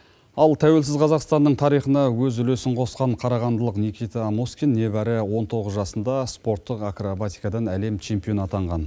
ал тәуелсіз қазақстанның тарихына өз үлесін қосқан қарағандылық никита аноскин небәрі он тоғыз жасында спорттық акробатикадан әлем чемпионы атанған